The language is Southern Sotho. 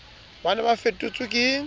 ba ne ba fetotswe ke